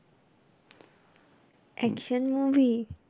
Action movie?